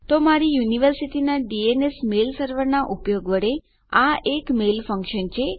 તો મારી યુનિવર્સિટીના ડીએનએસ મેલ સર્વરનાં ઉપયોગ વડે આ એક મેલ ફંક્શન છે